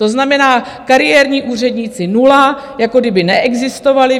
To znamená, kariérní úředníci nula, jako kdyby neexistovali.